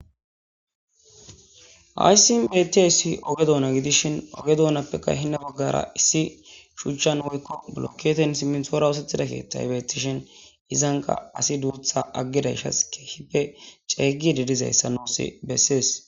Ha simmi betiayssi oge dona giddishin oge donappe hinna baggaara issi biillokketen simintoora oosetidara kettay be'ettishin izankka asi dusa aggadaysh keehippe ceggiddi ayssa nuusi beses.